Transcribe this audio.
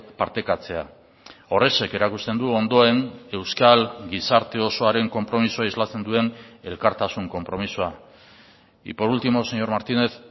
partekatzea horrexek erakusten du ondoen euskal gizarte osoaren konpromisoa islatzen duen elkartasun konpromisoa y por último señor martínez